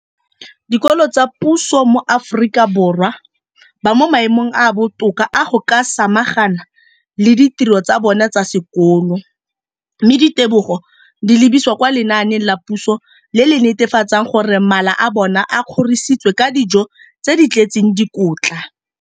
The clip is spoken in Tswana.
Dikolo tsa puso mo Aforika Borwa ba mo maemong a a botoka a go ka samagana le ditiro tsa bona tsa sekolo, mme ditebogo di lebisiwa kwa lenaaneng la puso le le netefatsang gore mala a bona a kgorisitswe ka dijo tse di tletseng dikotla.